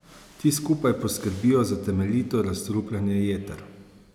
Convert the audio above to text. Ti skupaj poskrbijo za temeljito razstrupljanje jeter.